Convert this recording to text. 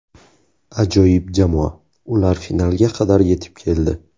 Ajoyib jamoa, ular finalga qadar yetib keldi.